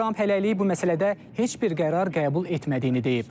Tramp hələlik bu məsələdə heç bir qərar qəbul etmədiyini deyib.